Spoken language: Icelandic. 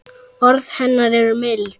Orð hennar eru mild.